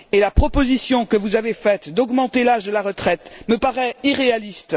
La proposition que vous avez faite d'augmenter l'âge de la retraite me paraît irréaliste.